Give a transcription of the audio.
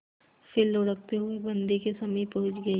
फिर लुढ़कते हुए बन्दी के समीप पहुंच गई